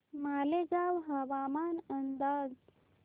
मालेगाव हवामान अंदाज